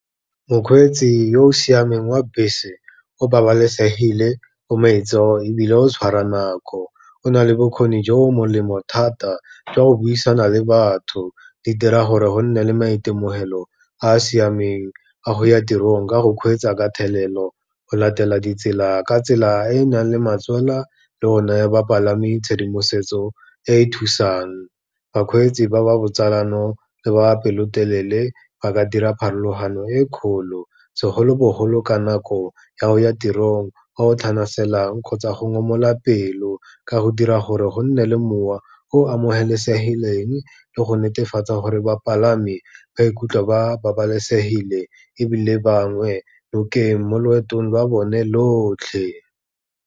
Mokgweetsi yo o siameng wa bese, o babalesegile, o maitseo ebile o tshwara nako. O na le bokgoni jo bo molemo thata jwa go buisana le batho, di dira gore go nne le maitemogelo a a siameng a go ya tirong ka go kgweetsa ka thelelo, go latela ditsela ka tsela e e nang le matswana le go naya bapalami tshedimosetso e e thusang. Bakgweetsi ba ba botsalano le ba ba pelotelele ba ka dira pharologano e kgolo, segolobogolo ka nako ya go ya tirong o tlhanaselang kgotsa go ngomoga pelo, ka go dira gore go nne le mowa o amogelesegileng le go netefatsa gore bapalami ba ikutlwa ba babalesegile ebile bangwe lo ke mo loetong lwa bone lotlhe.